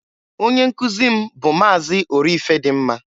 Onye nkụzị m bụ Maazị Orifedịmma.